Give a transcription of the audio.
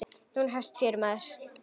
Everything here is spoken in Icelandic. Nú hefst fjörið, maður.